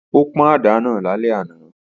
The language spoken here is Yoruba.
Ó pọ́n àdá náà lálẹ́ àná